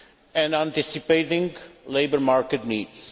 and anticipating labour market needs.